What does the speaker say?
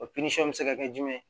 O bɛ se ka kɛ jumɛn